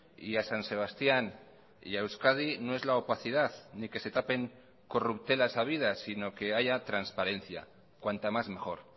y a san sebastián y a euskadi no es la opacidad ni que se tapen corruptelas habidas sino que haya transparencia cuanta más mejor